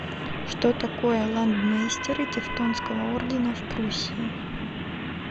что такое ландмейстеры тевтонского ордена в пруссии